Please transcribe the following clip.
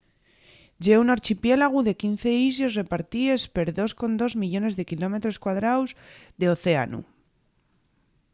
ye un archipiélagu de 15 islles repartíes per 2,2 millones de km2 d'océanu